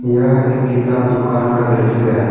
यह एक किताब दुकान का दृश्य है।